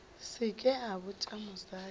se ke a botša mosadi